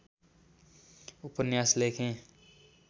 उपन्यास लेखेँ